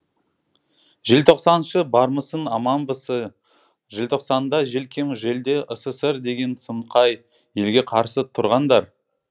желтоқсаншы бармысың аманбысы ңжелтоқсанда желкем желде ссср деген сұмқай елге қарсы тұрғандар